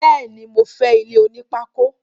Béèni, mo fé ilé onípákó